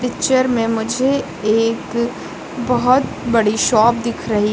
picture में मुझे एक बहुत बड़ी शॉप दिख रही --